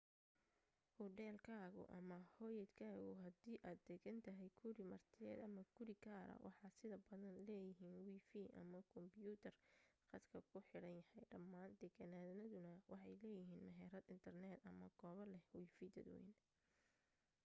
hudheelkaagu ama hoyaadkaagu hadii aad degan tahay guri martiyeed ama guri gaara waxa sida badan leeyihiin wifi ama kumbiyuutar khadka ku xiran yahay dhammaan deegaanaduna waxay leeyihiin meherad internet ama goobo leh wifi dadwayne